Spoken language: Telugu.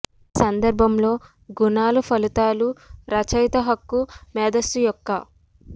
ఈ సందర్భంలో గుణాలు ఫలితాలు రచయిత హక్కు మేధస్సు యొక్క